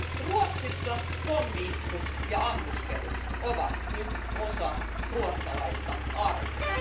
Ruotsissa pommi iskut ja ammuskelut ovat nyt osa ruotsalaista arkea.